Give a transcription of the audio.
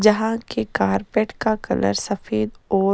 जहा के कारपेट का कलर सफ़ेद और--